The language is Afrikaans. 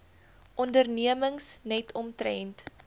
ondernemings net omtrent